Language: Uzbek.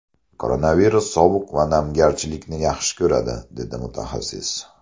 Koronavirus sovuq va namgarchilikni yaxshi ko‘radi”, dedi mutaxassis.